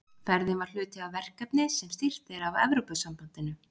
Ferðin var hluti af verkefni sem styrkt er af Evrópusambandinu.